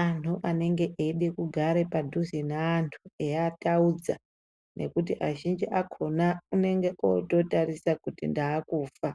antu anenge eyida kugara padhuze neantu eyiataudza ngekuti azhinji akona anenge ototarisira kuti ndakufa.